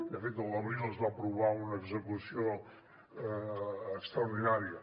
de fet a l’abril es va aprovar una execució extraordinària